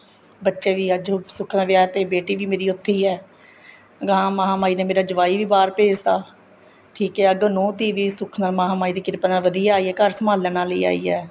ਬੱਚੇ ਵੀ ਅੱਜ ਸੁੱਖ ਨਾਲ ਵਿਆਹ ਤੇ ਬੇਟੀ ਵੀ ਮੇਰੀ ਉੱਥੇ ਈ ਏ ਗਾ ਮਹਾਮਾਹੀ ਨੇ ਮੇਰਾ ਜਵਾਈ ਵੀ ਬਹਾਰ ਭੇਜਦਾ ਠੀਕ ਏ ਅੱਗੋ ਨੂੰਹ ਧੀਹ ਵੀ ਸੁਖ ਨਾਲ ਮਹਾਮਾਹੀ ਦੀ ਕਿਰਪਾ ਵਧੀਆ ਆਈ ਏ ਘਰ ਸੰਭਾਲਣ ਵਾਲੀ ਆਈ ਏ